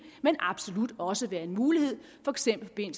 men absolut også være en mulighed for eksempel i